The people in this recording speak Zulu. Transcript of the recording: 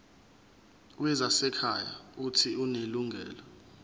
wezasekhaya uuthi unelungelo